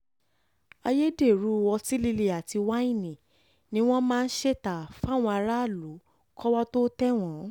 ayédèrú ọtí líle àti wáìnì ni wọ́n máa ń ṣe ta fáwọn aráàlú kọ́wọ́ tóo tẹ̀ wọ́n